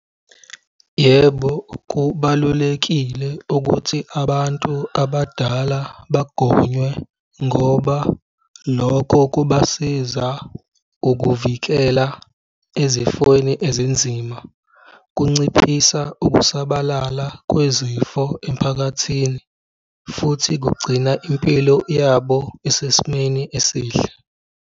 Yebo, kubalulekile ukuthi abantu abadala bagonywe ngoba lokho kubasiza ukuvikela ezifweni ezinzima, kunciphisa ukusabalala kwezifo emphakathini futhi kugcina impilo yabo isesimeni esihle.